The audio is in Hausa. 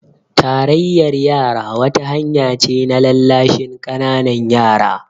Tarayyar yara wata hanya ce na lallashin ƙananan yara